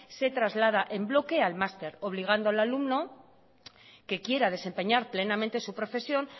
se traslada en bloque al máster obligando al alumno que quiera desempeñar plenamente su profesión